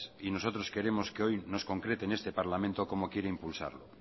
y nosotros queremos que hoy nos concrete en este parlamento cómo quiere impulsarlo